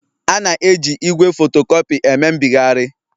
A na-eji igwe fotocopy eme mbịgharị